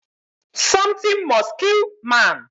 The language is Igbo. something must kill man